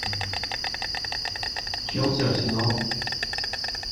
челси арсенал